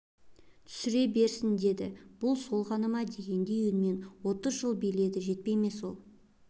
түсіре берсін деді бұл сол ғана ма дегендей үнімен отыз жыл биледі жетпей ме сол